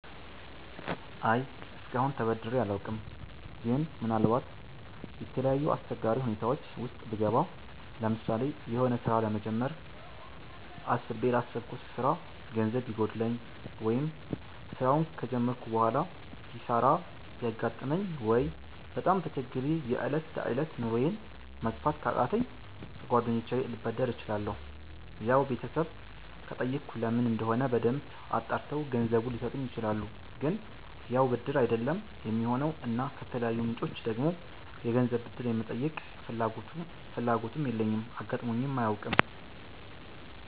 አይ እስከአሁን ተበድሬ አላውቅም ግን ምናልባት የተለያዩ አስቸጋሪ ሁኔታወች ዉስጥ ብገባ ለምሳሌ የሆነ ስራ ለመጀመር አስቤ ላሰብኩት ስራ ገንዘብ ቢጎለኝ፣ ወይ ስራውን ከጀመርኩ በሆላ ኪሳራ ቢያጋጥመኝ፣ ወይ በጣም ተቸግሬ የ እለት ተእለት ኑሮየን መግፋት ካቃተኝ ከ ጓደኞቸ ልበደር እችላለሁ ያው ቤተሰብ ከጠየኩ ለምን እንደሆነ በደንብ አጣርተው ገንዘቡን ሊሰጡኝ ይችላሉ ግን ያው ብድር አይደለም የሚሆነው እና ከተለያዩ ምንጮች ደግሞ የገንዘብ ብድር የመጠየቅ ፍላጎቱም የለኝም አጋጥሞኝም አያውቅም